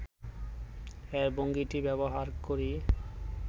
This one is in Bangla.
এর ভঙ্গিটি ব্যবহার করি